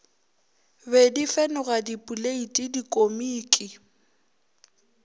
be di fenoga dipoleiti dikomiki